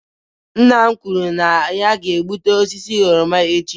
Nna m kwuru na ya ga-egbutu osisi oroma echi